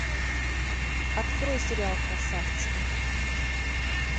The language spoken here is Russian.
открой сериал красавцы